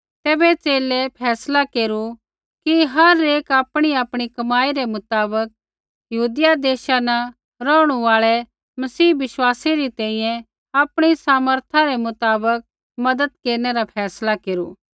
तैबै च़ेले फैसला केरू कि हर एक आपणीआपणी कमाई रै मुताबक यहूदिया देशा न रौहणु आल़ै मसीह बिश्वासी री तैंईंयैं आपणी सामर्था रै मुताबक मज़त केरनै रा फैसला केरू